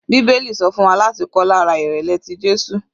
Bíbélì sọ fún wa láti kọ́ lára ìrẹ̀lẹ̀ tí Jésù.